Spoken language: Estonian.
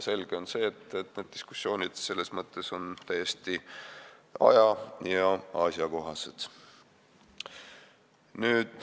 Selge on see, et need diskussioonid on täiesti aja- ja asjakohased.